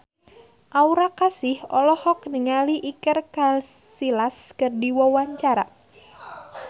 Aura Kasih olohok ningali Iker Casillas keur diwawancara